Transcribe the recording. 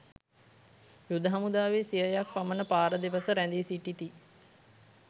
යුද හමුදාවේ සියයක් පමණ පාර දෙපස රැඳී සිටිති.